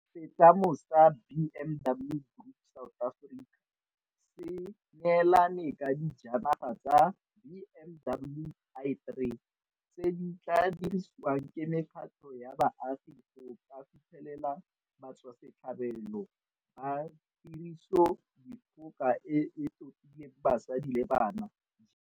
Setlamo sa BMW Group South Africa se neelane ka dijanaga tsa BMW i3 tse di tla dirisiwang ke mekgatlho ya baagi go ka fitlhelela batswasetlhabelo ba Tirisodikgoka e e Totileng Basadi le Bana GBV.